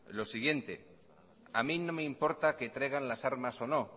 lo siguiente a mi no me importa que traigan las armas o no